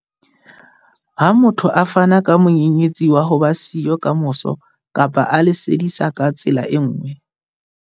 Ha motho a fana ka monyenyetsi wa ho ba siyo kamoso kapa a le sadisa ka tsela e nngwe.